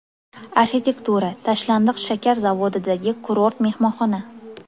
Arxitektura: Tashlandiq shakar zavodidagi kurort mehmonxona .